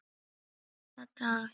BILLA DAL